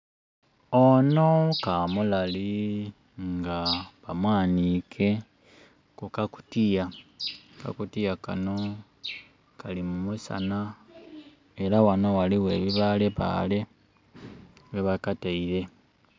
Ono kamulali nga ba mwanhike kukakutiya, akakutiya kano kali mu musana era ghano ghaligho ebibalebale ghebakateire.